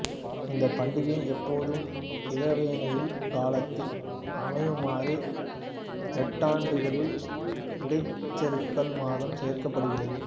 இந்த பண்டிகை எப்போதும் இளவேனில் காலத்தில் அமையுமாறு நெட்டாண்டுகளில் இடைச்செருகல் மாதம் சேர்க்கப்படுகிறது